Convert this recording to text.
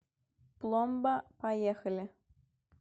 пломба поехали